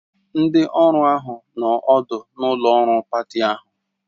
Ndị ọrụ ahụ nọ ọdụ n'ụlọ ọrụ pati ahụ